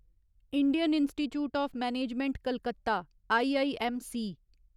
Indian institute of management Calcutta IIMC